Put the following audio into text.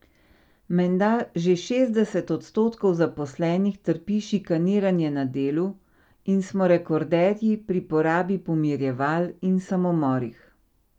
Menda že šestdeset odstotkov zaposlenih trpi šikaniranje na delu in smo rekorderji pri porabi pomirjeval in samomorih.